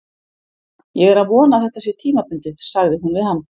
Ég er að vona að þetta sé tímabundið, sagði hún við hann.